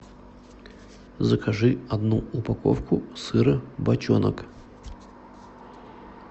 закажи одну упаковку сыра бочонок